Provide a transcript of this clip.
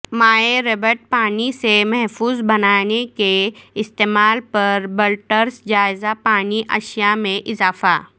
مائع ربڑ پانی سے محفوظ بنانے کے استعمال پر بلڈرز جائزہ پانی اشیاء میں اضافہ